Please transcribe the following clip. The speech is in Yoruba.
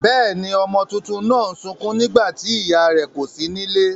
Bẹ́ěni, ọmọ tuntun náà ń sukún nígbà tí ìyá rẹ̀ kò sí nílé.